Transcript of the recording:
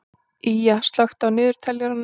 Ýja, slökktu á niðurteljaranum.